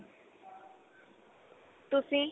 ਤੁਸੀਂ